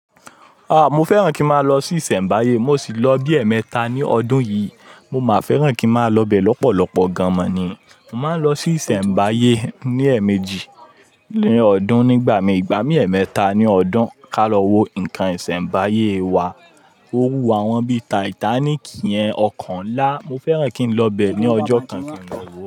Ah! Mo fẹ́ràn kí n máa lọ sí ìsẹ̀mbáyé. Mo sì lọ bí ẹ̀ẹ̀mẹta ní ọdún yìí. Mo máa fẹ́ràn kí n máa lọ bẹ́ẹ̀ lọ́pọ̀lọpọ̀ gan an mọ ni. Mo máa ń lọ sí ìsẹ̀mbáyé ní ẹ̀ẹ̀mejì ní ọdún. Nígbà mí ìgbà mí ẹ̀ẹ̀mẹ́ta ní ọdún. Ká lọ wo nǹkan ìsẹ̀mbáyé wa. Ó wù àwọn bí Titanic yẹn ọkàn ńlá. Mo fẹ́ràn kí n lọ bẹ́ẹ̀ ní ọjọ́ kankan lọ́wọ́